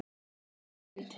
Er heimild?